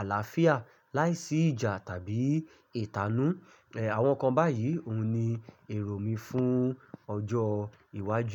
àlàáfíà láìsí ìjà tàbí ìtanú. Ehn, àwọn nǹkan báyìí òun ni èrò mi fún ọjọ́ iwájú.